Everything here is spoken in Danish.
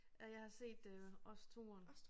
Og jeg har set det også 2'eren